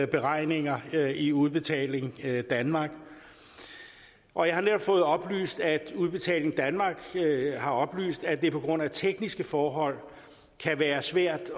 beregninger i udbetaling danmark og jeg har netop fået oplyst at udbetaling danmark har oplyst at det på grund af tekniske forhold kan være svært